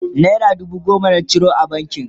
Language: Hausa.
naira dubu goma na ciro a bankin